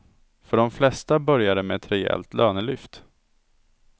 För de flesta börjar det med ett rejält lönelyft.